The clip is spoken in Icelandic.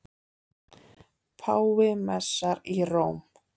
Páfi messar í Róm